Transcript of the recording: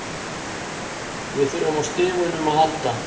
Við þurftum á stigunum að halda.